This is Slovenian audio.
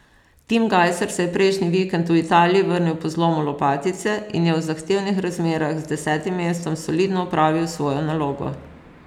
Tim Gajser se je prejšnji vikend v Italiji vrnil po zlomu lopatice in je v zahtevnih razmerah z desetim mestom solidno opravil svojo nalogo.